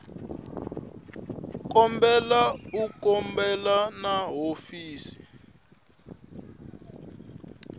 kombela u khumbana na hofisi